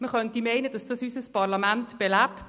Man könnte meinen, dass dies unser Parlament belebt.